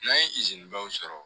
N'an ye dɔw sɔrɔ